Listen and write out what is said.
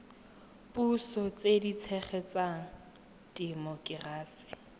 puso tse di tshegetsang temokerasi